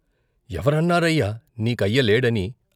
ఎవరన్నారయ్యా నీకయ్య లేడని?